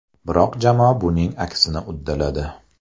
Biroq jamoa buning aksini uddaladi.